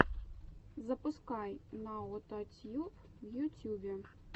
запускай наотатьюб в ютюбе